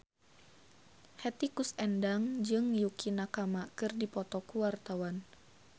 Hetty Koes Endang jeung Yukie Nakama keur dipoto ku wartawan